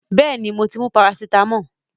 Yes, I have taken paracetamol